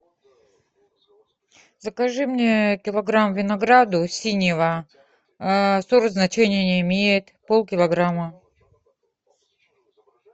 закажи мне килограмм винограда синего сорт значения не имеет полкилограмма